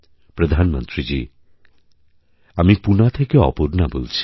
প্রধানমন্ত্রীজীআমি পুণা থেকে অপর্ণা বলছি